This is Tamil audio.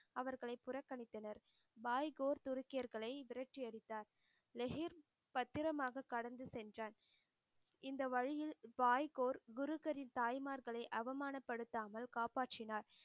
அவர்களை புறக்கணித்தனர் பாய் கோர் துருக்கியர்களைத் விரட்டி அடித்தார் லெஹிர் பத்திரமாக கடந்து சென்றான் இந்த வழியில் பாய்கோர் குருகரின் தாய்மார்களே அவமானப்படுத்தாமல் காப்பாற்றினார்.